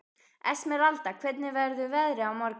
Esmeralda, hvernig verður veðrið á morgun?